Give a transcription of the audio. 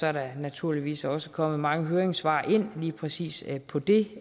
er der naturligvis også kommet mange høringssvar ind lige præcis på det